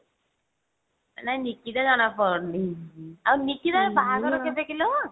ନାଇଁ ନିକିତା ଜଣା ପଡୁନି ଆଉ ନିକିତା ବାହାଘର କେବେ କିଲୋ?